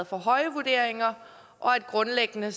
for høje vurderinger og at det grundlæggende